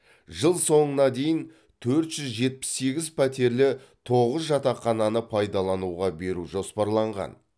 жыл соңына дейін төрт жүз жетпіс сегіз пәтерлі тоғыз жатақхананы пайдалануға беру жоспарланған